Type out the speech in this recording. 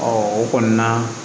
o kɔni na